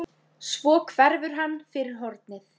Svo hverfur hann fyrir hornið.